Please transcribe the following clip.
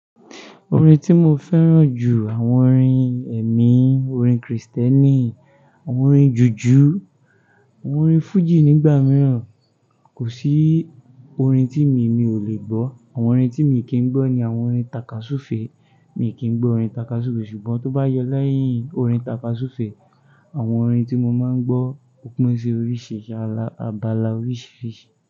Orin tí mo fẹ́ràn jù, àwọn orin ẹ̀mí, orin Kristẹni, àwọn orin jùju, àwọn orin fújì nígbà mìíràn. Kò sí orin tí èmi mi ò lè gbọ́. Àwọn orin tí mi kì í gbọ́ ni àwọn orin takasufe. Mi kì í gbọ́ orin takasufe ṣùgbọ́n tó bá yọ lẹ́yìn orin takasufe, àwọn orin tí mo máa ń gbọ́ òpin sí oríṣìíríṣìí àlà abala oríṣìíríṣìí.